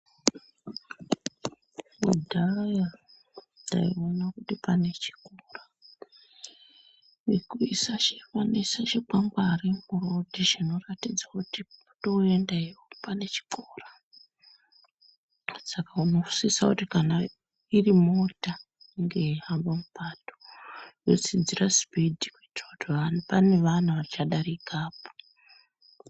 Kudhaya taiona kuti pane chikora vanoisa chikwangwari murodhi chinoratidza kuti kwotoenda iyo pane chikora Saka unosisa kuti kana irimota inge yeihamba mupato yatsidzira sipidhi kuitira kuti pane vana vachadarikapo.